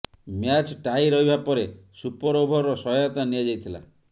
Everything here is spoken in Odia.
ମ୍ୟାଚ୍ ଟାଇ ରହିବା ପରେ ସୁପର ଓଭରର ସହାୟତା ନିଆଯାଇଥିଲା